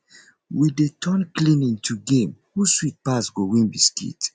we dey turn cleaning to game who sweep pass go win biscuit